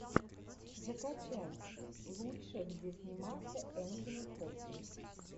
закачай лучшее где снимался энтони хопкинс